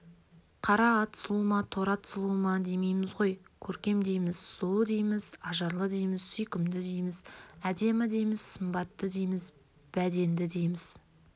қара ат сұлу ма торы ат сұлу ма демейміз ғой көркем дейміз сұлу дейміз ажарлы дейміз сүйкімді дейміз әдемі дейміз сымбатты дейміз бәденді дейміз